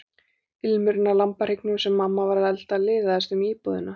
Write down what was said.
Ilmurinn af lambahryggnum sem mamma var að elda liðaðist um íbúðina.